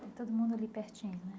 Todo mundo ali pertinho, né?